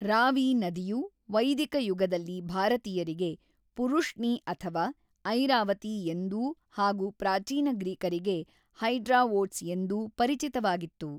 ರಾವಿ ನದಿಯು ವೈದಿಕ ಯುಗದಲ್ಲಿ ಭಾರತೀಯರಿಗೆ ಪುರುಷ್ಣಿ ಅಥವಾ ಐರಾವತಿ ಎಂದೂ ಹಾಗೂ ಪ್ರಾಚೀನ ಗ್ರೀಕರಿಗೆ ಹೈಡ್ರಾವೋಟ್ಸ್ ಎಂದೂ ಪರಿಚಿತವಾಗಿತ್ತು.